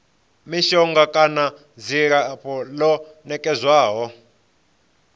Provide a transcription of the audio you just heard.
mishonga kana dzilafho ḽo nekedzwaho